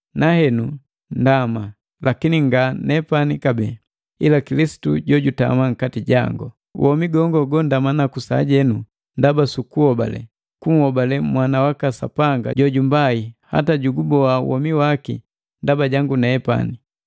nahenu ndama, lakini nga nepani kabee, ila Kilisitu jojutama nkati jango. Womi gongo gondama naku sajenu ndama sukuhobale, kunhobale Mwana waka Sapanga jojumbai hata juguboa womi waki ndaba jangu nepani.